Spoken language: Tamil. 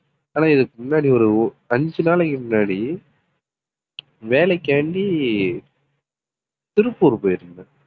ஆனா இதுக்கு முன்னாடி ஒரு அஞ்சு நாளைக்கு முன்னாடி வேலைக்காண்டி திருப்பூர் போயிருந்தேன்